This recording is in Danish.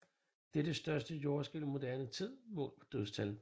Det er det største jordskælv i moderne tid målt på dødstal